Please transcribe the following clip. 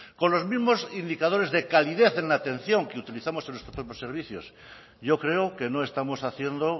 con los mismos indicadores de calidad en la atención que utilizamos en nuestros propios servicios yo creo que no estamos haciendo